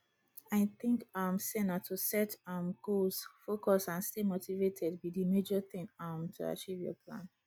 i think um say na to set um goals focus and stay motivated be di major thing um to achieve your plan